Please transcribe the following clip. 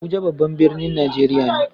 Abuja babban birnin Najeriya ne.